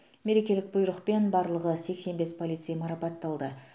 мерекелік бұйрықпен барлығы сексен бес полицей марапатталды